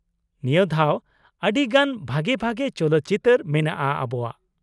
ᱱᱤᱭᱟ. ᱫᱷᱟᱣ ᱟᱰᱤ ᱜᱟᱱ ᱵᱷᱟᱜᱮ ᱵᱷᱟᱜᱮ ᱪᱚᱞᱚᱛ ᱪᱤᱛᱟ.ᱨ ᱢᱮᱱᱟᱜᱼᱟ ᱟᱵᱚᱣᱟᱜ ᱾